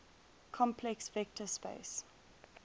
complex vector space